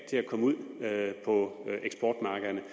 til at komme ud på eksportmarkederne